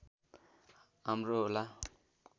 राम्रो होला